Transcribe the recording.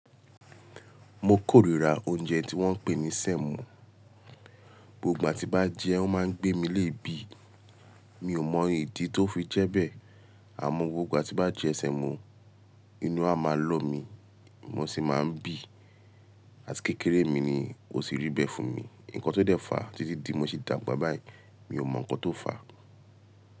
Mo kórira oúnjẹ tí wọ́n ń pè ní sẹ́mọ̀. Gbogbo ìgbà tí n bá jẹ o máa ń gbé mi léè bí. Mi ò mọ ìdí tó fi jẹ́ bẹ́ẹ̀, àmọ́ gbogbo ìgbà tí n bá jẹ sẹ́mọ̀, inú a máa lọ mi, mọ̀ ṣi máa ń bì, àti kékeré mi ni ó tì ribẹ́ fún mi. Ǹnkan tó dẹ fàá títí di mo ṣe dàgbà báyìí, mi ò mọ nǹkan tó fà á.